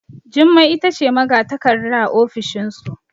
Jummai ita ce magatakarda a ofishinsu